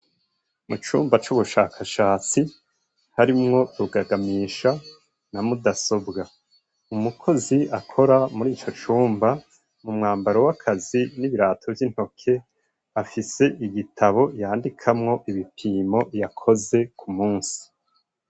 Mu cumba c'ubushakashatsi harimwo rugagamisha na mudasobwa umukozi akora muri ico cumba mu mwambaro w'akazi n'ibirato vy'intoke afise igitabo yandikamwo ibipimo yakoze ku musi.